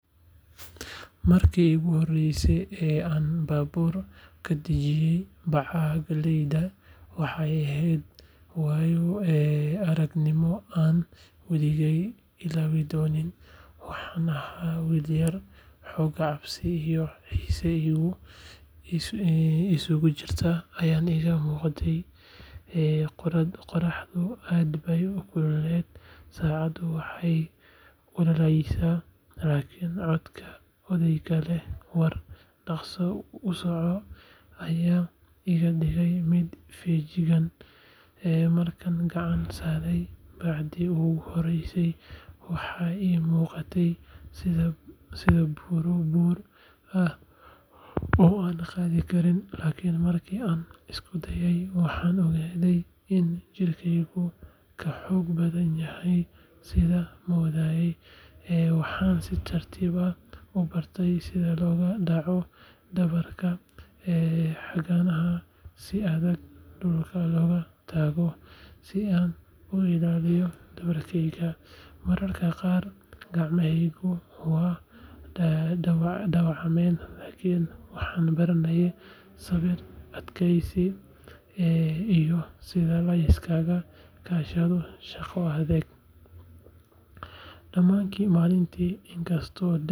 Markii iigu horreysay ee aan baabuur ka dejinayo bacaha galleyda, waxay ahayd waayo-aragnimo aanan weligay ilaawi doonin. Waxaan ahaa wiil yar, xoogaa cabsi iyo xiise isugu jira ayaa iga muuqday. Qorraxdu aad bay u kulushahay, sacabkuna wuu ololayaa, laakiin codka odayga leh “war dhaqso u soco!” ayaa iga dhigay mid feejigan. Markaan gacan saaray bacdii ugu horreysay, waxay ii muuqatay sida buuro buur ah oo aanan qaadi karin, laakiin markii aan isku dayay, waxaan ogaaday in jirkeygu ka xoog badan yahay sidaan moodayay. Waxaan si tartiib ah u bartay sida loogu dhaco dhabarka, cagahana si adag dhulka loogu taago, si aan u ilaaliyo dhabarkeyga. Mararka qaar gacmahaygu way dhaawacmeen, laakiin waxaan baranayay sabir, adkaysi, iyo sida la iskaga kaashado shaqo adag. Dhammaadkii maalinta, inkastoo daal i dilay.